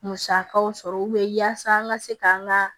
Musakaw sɔrɔ yaasa an ka se k'an ka